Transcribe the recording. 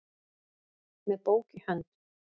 með bók í hönd